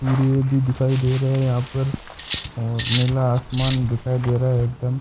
सूरज भी दिखाई दे रहा है यहां पर और नीला आसमान दिखाई दे रहा है एकदम--